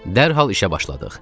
Dərhal işə başladıq.